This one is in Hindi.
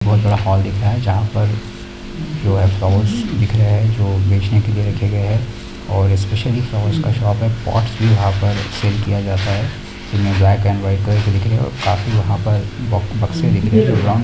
बोहत बड़ा हॉल दिख रहा है जहाँ पर जो है फ्लावर्स दिख रहे है जो बेचने के लिए रखे गए है और स्पेशली फ्लावर्स का शॉप है पौट्टस भी वहाँ पर सेल किआ जाता है ब्लैक एंड वाइट काफी वहां पर बक्से दिख रही हैं। जो ब्राउन --